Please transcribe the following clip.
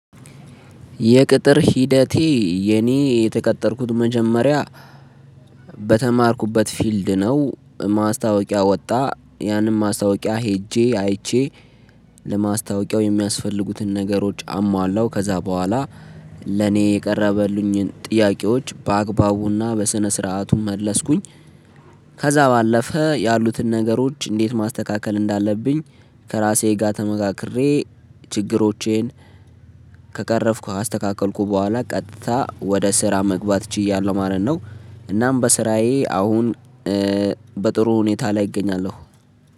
የቅጥር ሂደቴ የኔ የተቀጠርኩት መጀመሪያ በተማርኩበት ፊልድ ነው። ማስታወቂያ ወጣ ያንን ማስታወቂያ ሄጄ አይቼ ለማስታወቂያው የሚያስፈልጉትን ነገሮች አሟላው ከዛ በኋላ ለኔ የቀረበልኝን ጥያቄዎች በአግባቡና በስነ ስርዓቱም መለስኩኝ። ከዛ ባለፈ ያሉትን ነገሮች እንዴት ማስተካከል እንዳለብኝ። ከራሴ ጋር ተመካክሬ ችግሮቼን። ከቀረፍኩ አስተካከልኩ በኋላ ቀጥታ ወደ ስራ መግባት ችያለሁ ማለት ነው። እናም በስራዬ አሁን በጥሩ ሁኔታ ላይ እገኛለሁ